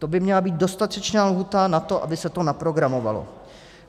To by měla být dostatečná lhůta na to, aby se to naprogramovalo.